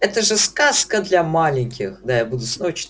это же сказка для маленьких